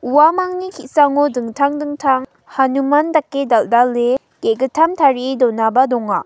uamangni ki·sango dingtang dingtang hanuman dake dal·dale ge·gittam tarie donaba donga.